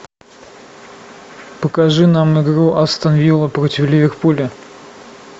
покажи нам игру астон вилла против ливерпуля